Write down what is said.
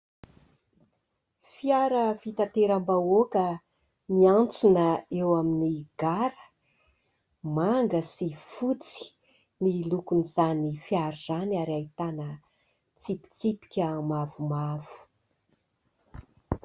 Fiara fitateram-bahoaka miantsona eo amin'ny gara. Manga sy fotsy ny lokon'izany fiara izany ary ahitana tsipitsipika mavomavo.